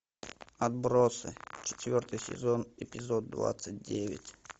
отбросы четвертый сезон эпизод двадцать девять